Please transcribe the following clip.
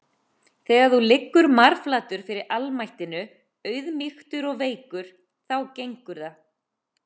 Þegar þú liggur marflatur fyrir almættinu, auðmýktur og veikur, þá gengur það.